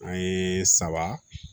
An ye saba